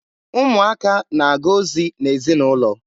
Ụmụaka na-aga ozi n'ezinaụlọ.